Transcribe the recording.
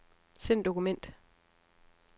Send dokument.